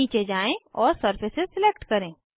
नीचे जाएँ और सरफेस सिलेक्ट करें